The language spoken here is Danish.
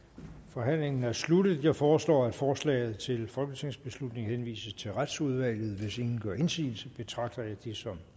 forhandlingen er sluttet jeg foreslår at forslaget til folketingsbeslutning henvises til retsudvalget hvis ingen gør indsigelse betragter jeg det som